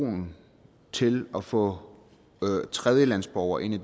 polen til at få tredjelandsborgere ind